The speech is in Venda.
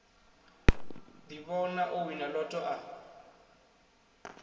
ḓivhona o wina lotto a